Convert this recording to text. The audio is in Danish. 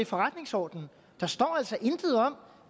forretningsordenen der står altså intet om